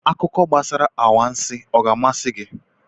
Akụkọ gbasara anwansị ọ ga-amasị gị?